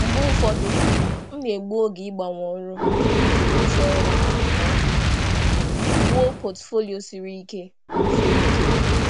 Mgbe ụfọdụ, ana m egbu oge ịgbanwe ọrụ iji mechaa ọrụ ma wulite akwụkwọ ọrụ siri ike karị.